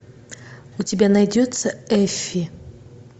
у тебя найдется эффи